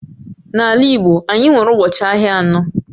N'ala Igbo anyị nwere ụbọchị ahịa anọ